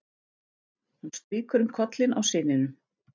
Hún strýkur um kollinn á syninum.